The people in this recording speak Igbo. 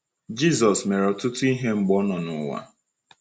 Jisọs mere ọtụtụ ihe mgbe ọ nọ n’ụwa.